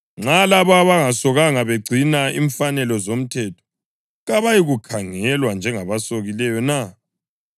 Nxa labo abangasokanga begcina imfanelo zomthetho, kabayikukhangelwa njengabasokileyo na?